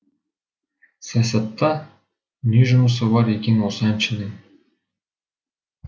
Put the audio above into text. саясатта не жұмысы бар екен осы әншінің